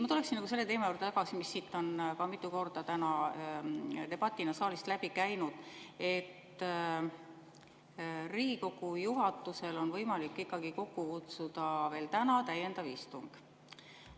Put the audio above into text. Ma tuleksin tagasi selle teema juurde, mis siit saalist on mitu korda täna debatina läbi käinud, et Riigikogu juhatusel on võimalik kokku kutsuda veel täna täiendav istung.